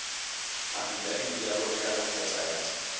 afidafiti ya molekane kgotsa ya